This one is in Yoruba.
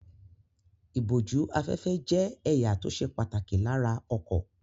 Ìbójú-afẹ́fẹ́ jẹ́ ẹ̀ya tó ṣe pàtàkì lára ọkọ̀.